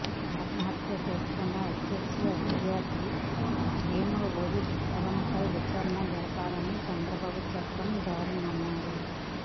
ఆత్మహత్య చేసుకున్న హెచ్సియు విద్యార్థి వేముల రోహిత్ కులంపై విచారణ జరపాలని చంద్రబాబు చెప్పడం దారుణమన్నారు